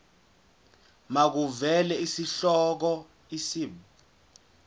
makuvele isihloko isib